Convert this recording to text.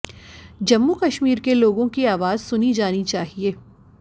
जम्मू कश्मीर के लोगों की आवाज सुनी जानी चाहिए